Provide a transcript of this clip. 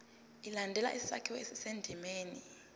ilandele isakhiwo esisendimeni